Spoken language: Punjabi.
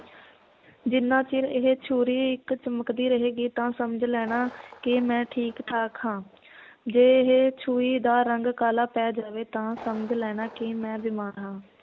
ਜਿਨਾਂ ਚਿਰ ਇਹ ਛੁਰੀ ਇਕ ਚਮਕਦੀ ਰਹੇਗੀ ਤਾਂ ਸਮਝ ਲੈਣਾ ਕਿ ਮੈ ਠੀਕ ਠਾਕ ਹਾਂ ਜੇ ਇਹ ਛੁਰੀ ਦਾ ਰੰਗ ਕਲਾ ਪੈ ਜਾਵੇ ਤਾਂ ਸਮਝ ਲੈਣਾ ਕਿ ਮੈ ਬਿਮਾਰ ਹਾਂ।